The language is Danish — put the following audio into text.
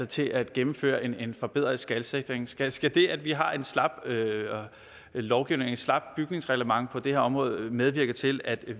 til at gennemføre en forbedret skalsikring skal skal det at vi har en slap lovgivning slapt bygningsreglement på det her område medvirke til at